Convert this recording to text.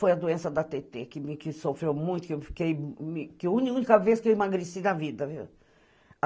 Foi a doença da Tetê, que me sofreu muito, que eu fiquei que a única vez que eu emagreci na vida, viu?